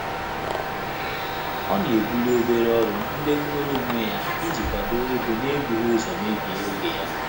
Ọ́ nà-ébùlí óbèré ọ́rụ́ ndị́ nwèrè ónwé yá ìjí kwàdò égo n’ébùghị́ ụ́zọ́ mébíé ògé yá.